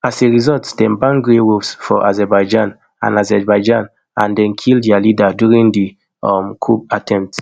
as a result dem ban grey wolves for azerbaijan and azerbaijan and dem kill dia leader during di um coup attempt